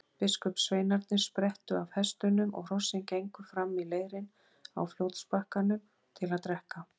Biskupssveinarnir sprettu af hestunum og hrossin gengu fram í leirinn á fljótsbakkanum til að drekka.